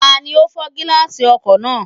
Tani ó fọ́ gíláàsì ọkọ̀ náà?